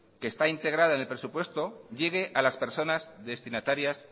que está integrada en el presupuesto llegue a las personas destinatarias